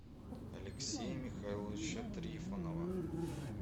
алексея михайловича трифонова